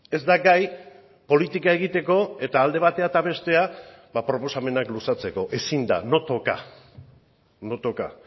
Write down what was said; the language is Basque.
ez da gai politika egiteko eta alde batera eta bestera ba proposamenak luzatzeko ezin da no toca no toca